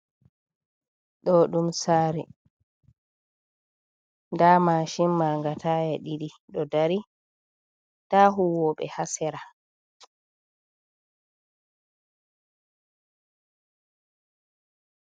Do dum sare, da mashin maga taya didi do dari da huwobe hasera.